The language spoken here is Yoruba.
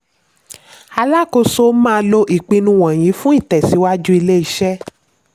alákòóso máa lò ìpinnu wọ̀nyí fún ìtẹ̀síwájú ilé-iṣẹ́.